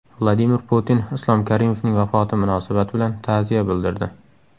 Vladimir Putin Islom Karimovning vafoti munosabati bilan ta’ziya bildirdi.